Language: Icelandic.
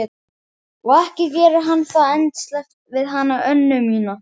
Og ekki gerir hann það endasleppt við hana Önnu mína.